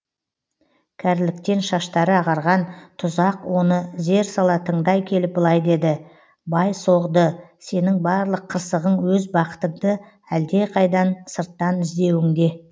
кәріліктен шаштары ағарған тұзақ оны зер сала тыңдай келіп былай деді бай соғды сенің барлық қырсығың өз бақытыңды әлдеқайдан сырттан іздеуіңде